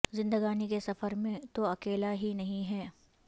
زندگانی کے سفر میں تو اکیلا ہی نہیں ہے